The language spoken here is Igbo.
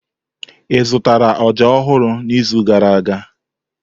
Ị zụtara ọjà ọhụrụ n'izu gara aga?